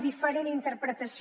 diferent interpretació